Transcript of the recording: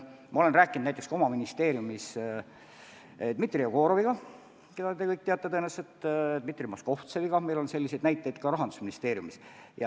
Ma olen sellest rääkinud oma ministeeriumis Dmitri Jegoroviga, keda te kõik tõenäoliselt teate, ja Dmitri Moskovtseviga – meil on selliseid näiteid ka Rahandusministeeriumis.